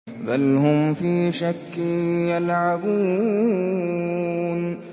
بَلْ هُمْ فِي شَكٍّ يَلْعَبُونَ